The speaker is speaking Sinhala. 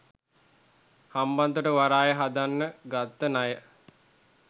හම්බන්තොට වරාය හදන්න ගත්ත ණය.